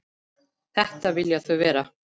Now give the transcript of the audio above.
Þetta vilja þau vera.